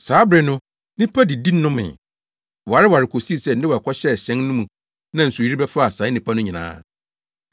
Saa bere no, nnipa didi nomee, wareware kosii sɛ Noa kɔhyɛɛ hyɛn no mu na nsuyiri bɛfaa saa nnipa no nyinaa.